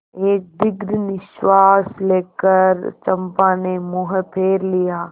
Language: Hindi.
एक दीर्घ निश्वास लेकर चंपा ने मुँह फेर लिया